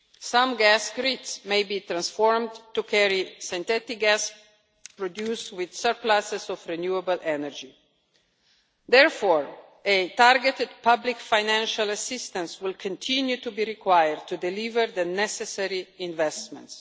Some gas grids may be transformed to carry synthetic gas, reduced with surpluses of renewable energy. Therefore, a targeted public financial assistance will continue to be required to deliver the necessary investments.